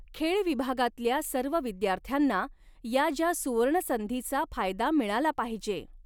खेळ विभागातल्या सर्व विद्यार्थ्यांना या ज्या सुवर्णसंधीचा फायदा मिळाला पाहिेजे